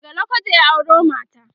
daga lokoja ya auro mata